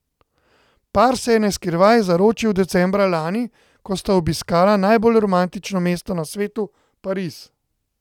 Par se je na skrivaj zaročil decembra lani, ko sta obiskala najbolj romantično mesto na svetu, Pariz.